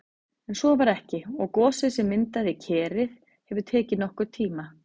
En svo var ekki og gosið sem myndaði Kerið hefur tekið nokkurn tíma.